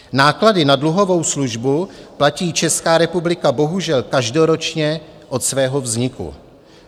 Náklady na dluhovou službu platí Česká republika bohužel každoročně od svého vzniku.